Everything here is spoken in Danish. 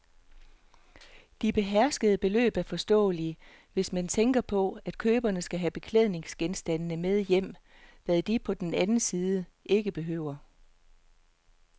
De beherskede beløb er forståelige, hvis man tænker på, at køberne skal have beklædningsgenstandene med hjem, hvad de på den anden side ikke behøver.